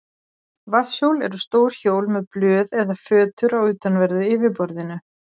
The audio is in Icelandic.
Vatnshjól eru stór hjól með blöð eða fötur á utanverðu yfirborðinu.